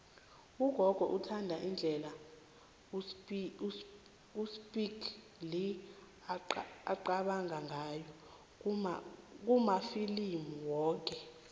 ugogo uthanda indlela uspike lee aqabanga ngayo kumafilimu wakhe